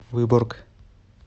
выборг